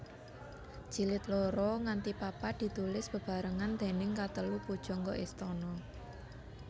Jilid loro nganti papat ditulis bebarengan déning katelu pujangga istana